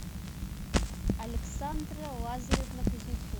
александра лазаревна кузнецова